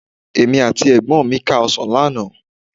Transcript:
Èmi àti ẹ̀gbọ́n mi ká ọ̀sán lánàá